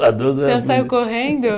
Você saiu correndo?